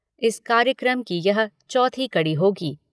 इस कार्यक्रम की यह चौथी कड़ी होगी।